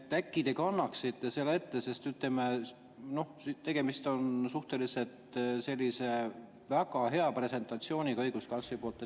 Äkki te kannaksite selle ette, sest, ütleme, tegemist oli sellise suhteliselt hea presentatsiooniga õiguskantsleri poolt.